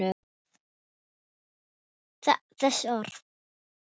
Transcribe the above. Katrín tekur undir þessi orð.